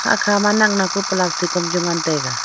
hakga ma naknak pa plastic am chu ngantaiga.